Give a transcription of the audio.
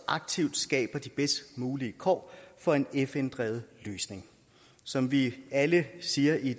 aktivt skaber de bedst mulige kår for en fn drevet løsning som vi alle siger i